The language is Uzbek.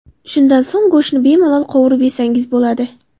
Shundan so‘ng go‘shtni bemalol qovurib yesangiz bo‘ladi.